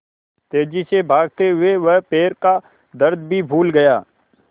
तेज़ी से भागते हुए वह पैर का दर्द भी भूल गया